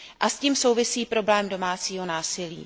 S tím souvisí problém domácího násilí.